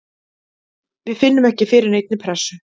Við finnum ekki fyrir neinni pressu.